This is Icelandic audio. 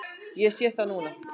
Ég sé það núna.